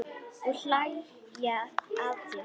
Og hlæja að þér.